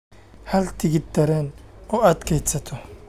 hel tigidh tareen oo aad kaydsato